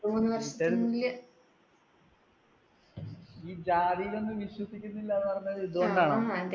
ഈ ജാതിയിൽ ഒന്നും വിശ്വസിക്കുന്നില്ല എന്ന് പറഞ്ഞത് ഇതു കൊണ്ടാണോ? ആ അതെ